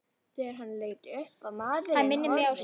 Þegar hann leit upp var maðurinn horfinn.